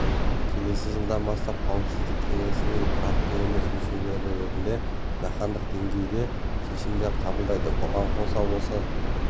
келесі жылдан бастап қауіпсіздік кеңесінің тұрақты емес мүшесі ретінде жаһандық деңгейде шешімдер қабылдайды бұған қоса осы